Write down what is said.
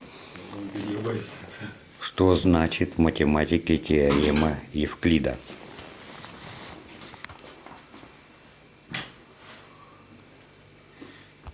что значит в математике теорема евклида